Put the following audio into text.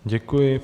Děkuji.